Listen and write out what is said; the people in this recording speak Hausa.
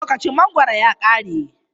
Lokacin mangoro ya kare.